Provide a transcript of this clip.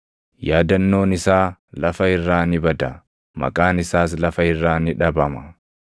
Yaadannoon isaa lafa irraa ni bada; maqaan isaas lafa irraa ni dhabama.